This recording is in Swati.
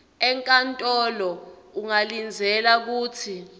enkantolo ungalindzela kutsi